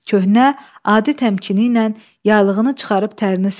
Köhnə, adi təmkinlə yaylığını çıxarıb tərini sildi.